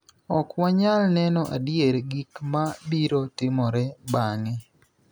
Ok wanyal neno adier gik ma biro timore bang�e.